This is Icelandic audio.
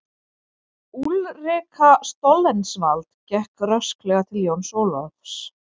Úlrika Stoltzenwald gekk rösklega til Jóns Ólafs.